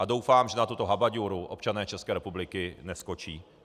A doufám, že na tuto habaďúru občané České republiky neskočí.